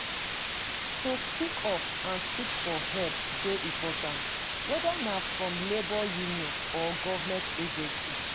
To speak up and seek for help dey important, whether na from labor union or government agency.